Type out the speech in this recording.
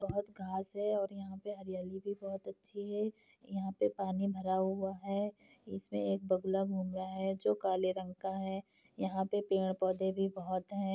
बहोत घास है और यहाँ पे हरियाली भी बहोत अच्छी है यहाँ पे पानी भरा हुआ है इसमें एक बगुला घूम रहा है जो काले रंग का है यहाँ पे पेड़-पौधे भी बहोत है।